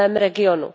v mém regionu.